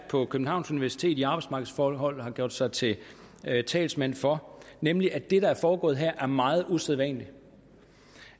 på københavns universitet i arbejdsmarkedsforhold har gjort sig til talsmand for nemlig at det der er foregået her er meget usædvanligt